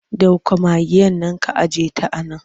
Dauko magaen nan ka ajiyeta a nan!